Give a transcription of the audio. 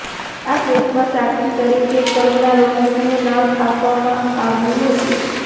આ કેસમાં સાક્ષી તરીકે કંગના રનોતનુ નામ આપવામાં આવ્યુ હતુ